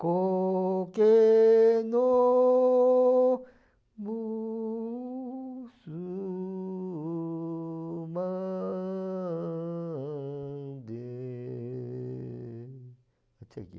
(canto)